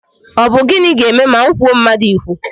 Ọ bụ gịnị ga-eme ma m kwuo mmadụ ikwu?